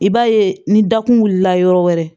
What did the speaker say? I b'a ye ni dakun wulila yɔrɔ wɛrɛ